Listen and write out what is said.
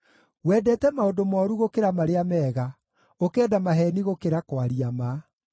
Wendete maũndũ mooru gũkĩra marĩa mega, ũkenda maheeni gũkĩra kwaria ma.